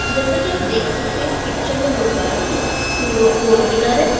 जैसा कि आप देख सकते हैं इस पिक्चर में दो गाड़ी है टू और फोर व्हीलर है।